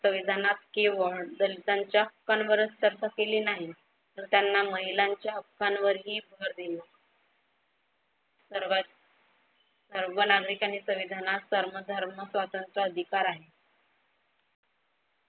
संविधानात केवळ दलितांच्या हक्कांवरच चर्चा केली नाही, तर त्यांना महिलांच्या हक्कांवरही भर दिली. सर्व नागरिकांनी संविधानात कर्म, धर्म, स्वातंत्र्य अधिकार आहे.